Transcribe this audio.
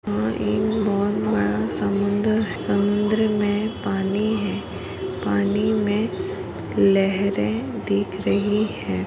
यहा एक बहुत बड़ा समुंदर है। समुंद्र मे पानी है। पानी मे लेहेरे दिखा रही है।